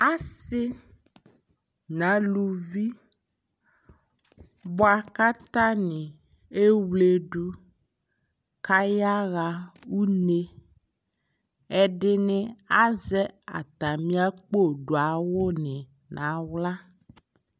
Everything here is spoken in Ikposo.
Asi na luvi bua katani ewledu ka ya ɣa uneƐdini azɛ ata mi akpo du awu ni na ɣla